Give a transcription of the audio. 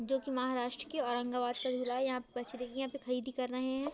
जो कि महाराष्ट्र की औरंगाबाद यहां पे बच्चे देखिये यहां पर खरेदी कर रहे हैं।